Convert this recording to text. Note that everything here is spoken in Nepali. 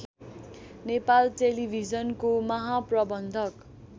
नेपाल टेलिभिजनको महाप्रबन्धक